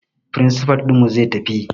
Firinsifal ɗinmu zai tafi